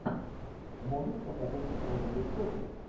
можешь показать розовые сопли